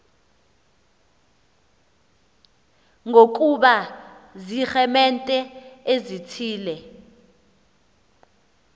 nokuba ziiremente ezithile